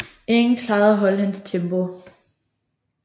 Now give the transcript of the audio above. Ingen klarede at holde hans tempo